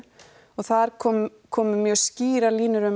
og þar komu komu mjög skýrar línur um